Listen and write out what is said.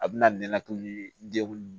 A bɛna to ni degun